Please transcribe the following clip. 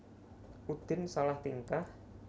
Udin salah tingkah